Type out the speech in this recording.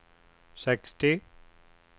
sextio